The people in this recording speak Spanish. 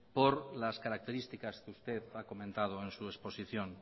por las características que usted ha comentado en su exposición